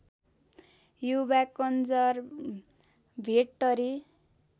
Yuva conservatory